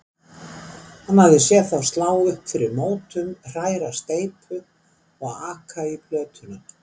Hann hafði séð þá slá upp fyrir mótum, hræra steypu og aka í plötuna.